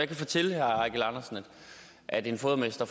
kan fortælle herre eigil andersen at en fodermester